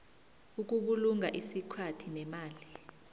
ukubulunga isikhathi nemali